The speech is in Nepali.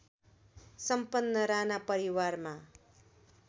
सम्पन्न राणा परिवारमा